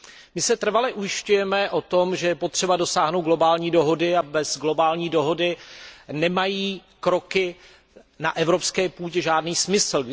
My se trvale ujišťujeme o tom, že je potřeba dosáhnout globální dohody a bez globální dohody nemají kroky na evropské půdě žádný smysl.